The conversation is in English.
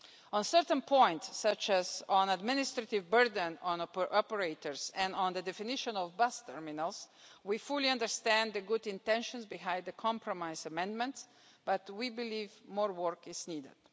On certain points, such as on the administrative burden on operators and on the definition of bus terminals, we fully understand the good intentions behind the compromise amendments, but we believe more work is needed.